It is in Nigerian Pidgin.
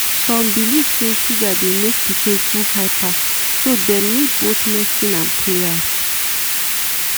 some belief say sugar dey make pikin too hyper so dem need both medicine and prayer.